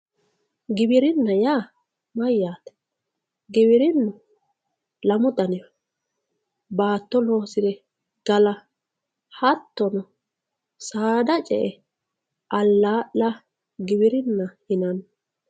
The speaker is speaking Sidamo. Giwirinna ya mayate giwirinu lamu daniho batto losite galla hatono sadda cee alalla giwirinna yinanni